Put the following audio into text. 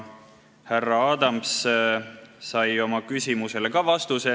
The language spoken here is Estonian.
Härra Adams sai ka oma küsimusele vastuse.